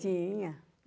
Tinha.